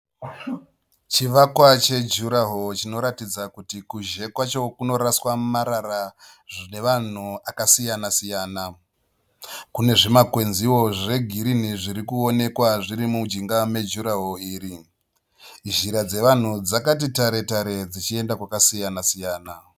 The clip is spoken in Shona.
Chivakwa chejurahoro chinoratidza kuti kunze kwacho kunoraswa marara nevanhu akasiyana siyana, kune zvimakwenziwo zvegirini zvirikuonekwa mujinga mejurahoro iri. Nzira dzevanhu dzakati tare tare dzichienda kwakasiyana siyana.